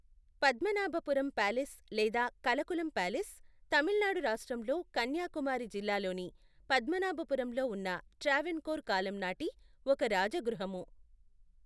Padmanabhapuram palace లేదా Kalkulam palace, Tamil Nadu రాష్ట్రంలో కన్యాకుమారి జిల్లాలోని పద్మనాభపురంలో ఉన్న ట్రావెన్కోర్ కాలం నాటి ఒక రాజగృహము.